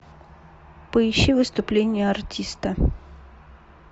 поищи выступление артиста